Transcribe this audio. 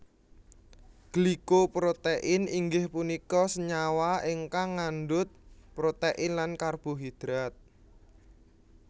Glyco protein inggih punika senyawa ingkang ngandut protein lan karbohidrat